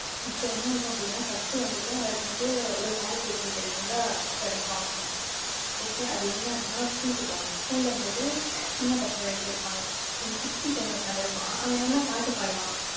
இப்ப என்ன ஆகும் அப்படின்னா first வந்துட்டு அவருக்கு வந்து ஒரு pair அ சேர்த்து வைக்கிறதுக்கு வந்தா கிடைக்கும் option okay அது என்ன அப்படின்னா school க்கு போகனும். school ல வந்துட்டு, சின்ன பசங்க ரெண்டு பேர் இருப்பாங்க. ஒரு குட்டி பையன் உட்கார்ந்து இருப்பான். அவன் என்னன்னா பாட்டு பாடுவான்.